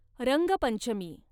Rangpanchami